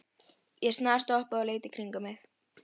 Ég snarstoppaði og leit í kringum mig.